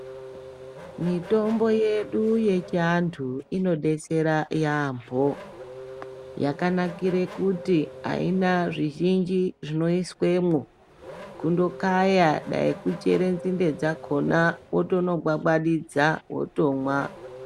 Mitombo yedu yechiantu inodetsera yaambo yakanakire kuti aina zvizhinji zvinoiswemwo kundokaya dai kuchere nzinde dzakhona wotonobwabwatidza wotomwa.